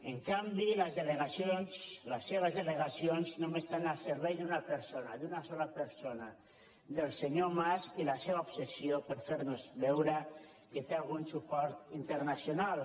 en canvi les seves delegacions només estan al servei d’una persona d’una sola persona del senyor mas i la seua obsessió per fer nos veure que té algun suport internacional